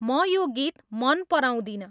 म यो गीत मन पराउदिनँ